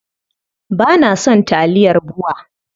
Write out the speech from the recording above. Ba na son taliyar BUA.